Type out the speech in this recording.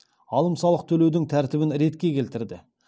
алым салық төлеудің тәртібін ретке келтірді